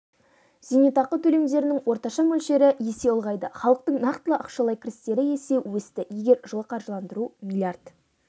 зейнетақы төлемдерінің орташа мөлшері есе ұлғайды халықтың нақтылы ақшалай кірістері есе өсті егер жылы қаржыландыру млрд